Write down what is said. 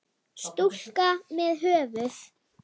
Stúlka með höfuð.